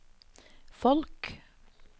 folk